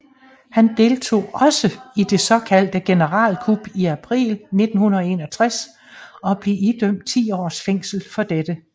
Han deltog også i det såkaldte generalkup i april 1961 og blev idømt 10 års fængsel for dette